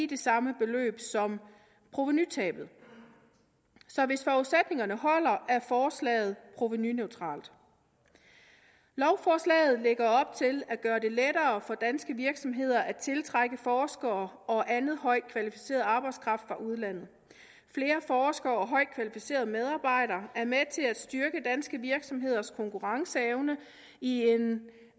det samme beløb som provenutabet så hvis forudsætningerne holder er forslaget provenuneutralt lovforslaget lægger op til at gøre det lettere for danske virksomheder at tiltrække forskere og anden højt kvalificeret arbejdskraft fra udlandet flere forskere og højt kvalificerede medarbejdere er med til at styrke danske virksomheders konkurrenceevne i en